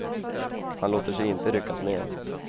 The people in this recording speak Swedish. Han låter sig inte ryckas med.